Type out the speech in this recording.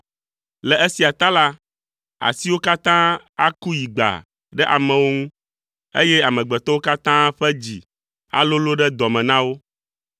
Le esia ta la, asiwo katã aku yigbaa ɖe amewo ŋu, eye amegbetɔwo katã ƒe dzi alolo ɖe dɔ me na wo.